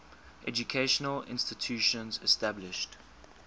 educational institutions established